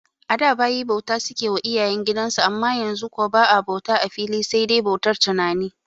A da bayi bauta suke wa iyayen gidan su amma yanzu kuwa ba'a bauta a fili sai dai bautar tunani